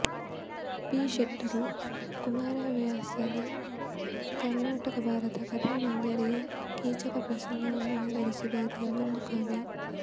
P ಶೆಟ್ಟರು ಕುಮಾರವ್ಯಾಸನ ಕರ್ಣಾಟಕ ಭಾರತ ಕಥಾ ಮಂಜರಿಯ ಕೀಚಕ ಪ್ರಸಂಗವನ್ನು ಆಧರಿಸಿ ಬರೆದ ಇನ್ನೊಂದು ಕಾವ್ಯ